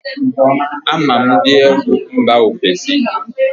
Ama m ndị egwu mba ofesi